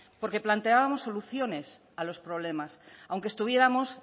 porque planteábamos soluciones a los problemas aunque estuviéramos